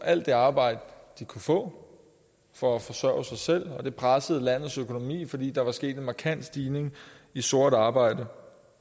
alt det arbejde de kunne få for at forsørge sig selv og det pressede landets økonomi fordi der var sket en markant stigning i sort arbejde